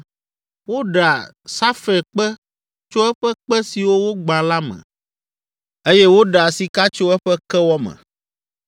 Woɖea safirkpe tso eƒe kpe siwo wogbã la me eye woɖea sika tso eƒe kewɔ me.